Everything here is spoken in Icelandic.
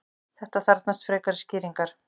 þetta þarfnast frekari skýringar